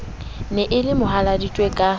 ne e le mohaladitwe ka